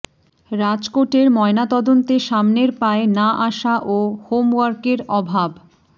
রাজকোটের ময়নাতদন্তে সামনের পায়ে না আসা ও হোমওয়ার্কের অভাব